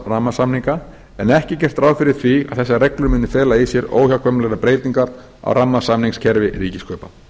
rammasamninga en ekki er gert ráð fyrir því að þessar reglur muni fela í sér óhjákvæmilegar breytingar á rammasamningskerfi ríkiskaupa